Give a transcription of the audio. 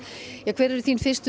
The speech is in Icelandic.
hver eru þín fyrstu